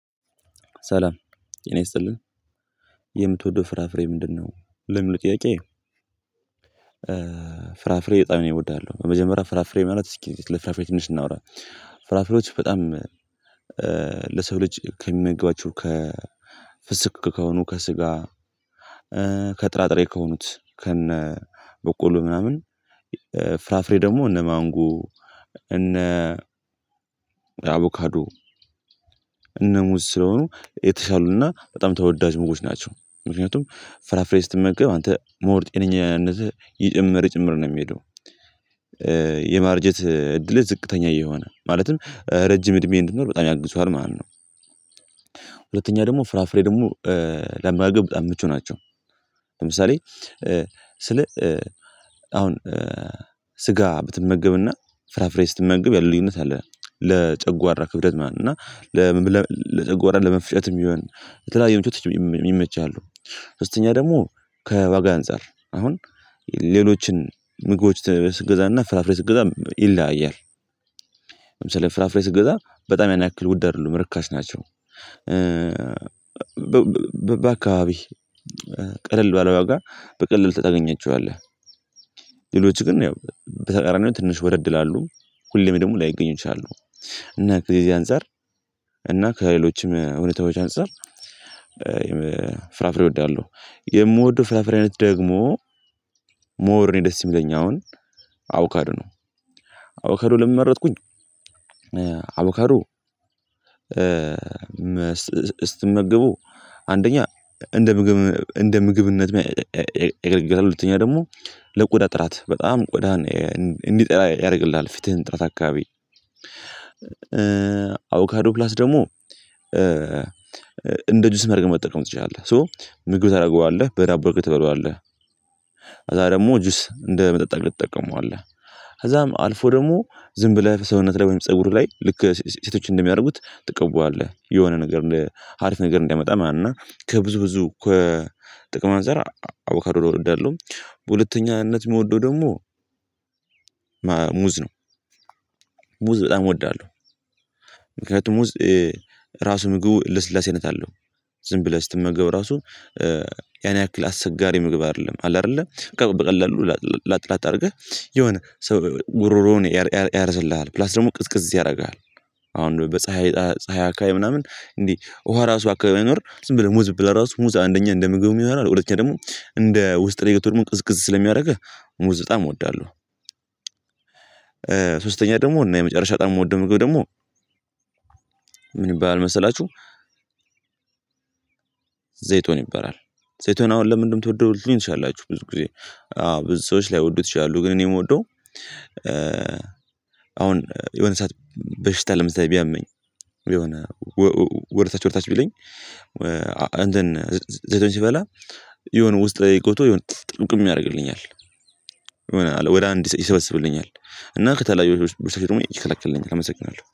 ሰላም ጤና ይስጥልን የምትወደው ፍራፍሬ ምንድነው ለሚለው ጥያቄ? ፍራፍሬ በጣም እወዳለሁ በመጀመሪያ ፍራፍሬ ማለት እስኪ ስለ ፍራፍሬ ትንሽ እናውራ። ፍራፍሬዎች በጣም ለሰው ልጅ ከሚመግቧቸው ፍስክ ከሆኑ ከስጋ ከጥራጥሬ ከሆኑት ከነ በቆሎ ምናምን ፍራፍሬ ደግሞ እነ ማንጎ እነ አቮካዱ እነ ሙዝ ስለሆኑ የተሻሉና በጣም ተወዳጅ ምግቦች ናቸው ምክንያቱም ፍራፍሬ ስትመገብ አንተ ሞር ጤነኛነትህ እየጨመረ እየጨመረ ነው የሚሄደው የማርጀት እድልህ ዝቅተኛ እየሆነ ማለትም ረጅም እድሜ እንድትኖር በጣም ያግዙሃል ማለት ነው። ሁለተኛ ደግሞ ፍራፍሬ ደግሞ ለመመገብ በጣም ምቹ ናቸው ለምሳሌ ስለ አሁን ስጋ ብትመገብና ፍራፍሬ ስትመገብ ያለ ልዩነት አለ ለጨጓራ ክብደት ማለት ነው እና ለጨጓራ ለመፍጨትም ይሆን በተለያየ ምቾት ይመቻሉ። ሶስተኛ ደግሞ ከዋጋ አንፃር አሁን ሌሎችን ምግቦች ስትገዛና ፍራፍሬ ስትገዛ ይለያያል ለምሳሌ ፍራፍሬ ስትገዛ በጣም ያን ያክል ውድ አይደሉም ርካሽ ናቸው። በአካባቢ ቀለል ባለ ዋር በቀላሉ ታገኛቸዋለህ። ሌሎች ግን ያው በተቃራኒው ትንሽ ወደድ ይላሉ ሁሌም ደግሞ ላይገኙ ይችላሉ እና ከዚህ አንፃር እና ከሌሎችም እውነታዎች አንፃር። ፍራፍሬ እወዳለሁ የምወደው ፍራፍሬ አይነት ደግሞ ሞር እኔን ደስ የሚለኝ አሁን አቦካዶ ነው። አቦካዶ ለምን መረጥኩኝ? አቦካዶ ስትመገበው አንደኛ እንደ ምግብ እንደ ምግብነት ያገለግልሀል ሁለተኛ ደግሞ ለቆዳ ጥራት በጣም ቆዳን እንዲጠራ ያደርግልሃል ፊትህን ጥራት አካባቢ አቦካዶ ፕላስ ደግሞ እንደ ጁስ አድርገህ መጠቀም ትችላለህ ሶ ምግብ ታደርገዋለህ በዳቦ አድርገህ ትበላዋለህ። ከዛ ደግሞ ጁስ እንደ መጠጥ አድርገህ ትጠቀመዋለህ ከዛም አልፎ ደግሞ ዝም ብለህ ሰውነትህ ላይ ወይም ፀጉርህ ላይ ልክ ሴቶችን እንደሚያደርጉት ትቀበላለህ የሆነ ነገር አሪፍ ነገር እንዲያመጣ እና ከብዙ ብዙ ከጥቅም አንፃር አቦካዶን እወዳለሁ። በሁለተኛነት የምወደው ደግሞ ሙዝ ነው። ሙዝ በጣም እወዳለሁ ምክንያቱም ሙዝ ራሱ ምግቡ ልስላሴነት አለው ዝም ብለህ ስትመገበው ራሱ ያን ያክል አስቸጋሪ ምግብ አይደለም አለ አይደለ በቀላሉ ላጥ ላጥ አድርገህ የሆነ ጉሮሮህን ያርስልሃል ፕላስ ደግሞ ቅዝቅዝ ያደርግሃል። አሁን በፀሀይ ፀሀይ አካባቢ ምናምን እንዴ ውሃ እራሱ በአካባቢው ባይኖር ዝም ብለህ ሙዝ ብትበላ እራሱ ሙዝ አንደኛ እንደ ምግብ ይሆናል ሁለተኛ ደግሞ እንደ ውስጥ ላይ ገብቶ ደግሞ ቅዝቅዝ ስለሚያደርግህ ሙዝ በጣም እወዳለሁ። ሶስተኛ ደግሞ እና የመጨረሻ ጣም የምወደው ምግብ ደግሞ ምን ይባላል መሰላችሁ? ዘይቶን ይበራል ዘይቶን አሁን ለምንድነው የምትወደው ልትሉኝ ትችላላችሁ ብዙ ጊዜ አዎ ብዙ ሰዎች ላይወዱት ይችላሉ ግን እኔ የምወደው። አሁን የሆነ ሰዓት በሽታ ለምሳሌ ቢያመኝ የሆነ ወደታች ወደታች ቢለኝ እንትን ዘይቶን ስበላ የሆነ ውስጥ ገብቶ የሆነ ጥርቅምቅም ያደርግልኛል አለ ይሆናል ወደ አንድ ይሰበስብልኛል እና ከተለያዩ በሽታወች ደግሞ ይከላከልልኛል አመሰግናለሁ